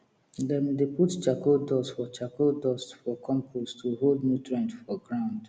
dem dey put charcoal dust for charcoal dust for compost to hold nutrient for ground